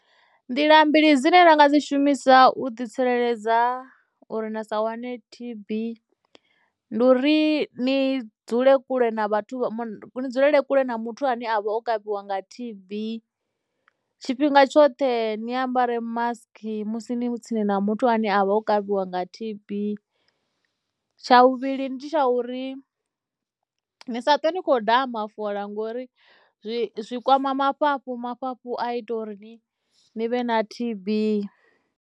Nḓila mbili dzine na nga dzi shumisa u ḓi tsireledza uri na sa wane T_B ndi uri ni dzule kule na vhathu vha ni dzulele kule na muthu ane a vha o kavhiwa nga T_B, tshifhinga tshoṱhe ni ambare mask musi ni tsini na muthu ane a vha o kavhiwa nga T_B, tsha vhuvhili ndi tsha uri ni sa twe ni khou daha mafola ngori zwi zwi kwama mafhafhu mafhafhu a ita uri ni, ni vhe na T_B.